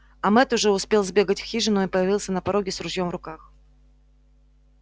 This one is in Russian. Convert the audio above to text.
а мэтт уже успел сбегать в хижину и появился на пороге с ружьём в руках